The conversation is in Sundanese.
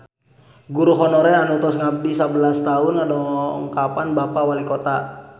Guru honorer anu tos ngabdi sabelas tahun ngadongkapan Bapak Walikota